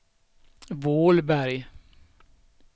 Vålberg